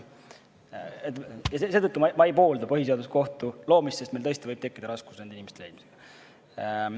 Ja seetõttu ma ei poolda põhiseaduskohtu loomist, sest meil tõesti võib tekkida raskusi nende inimeste leidmisega.